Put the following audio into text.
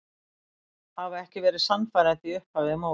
Hafa ekki verið sannfærandi í upphafi móts.